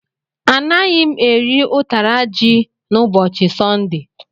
Anaghị m eri ụtara ji n'ụbọchị Sọnde.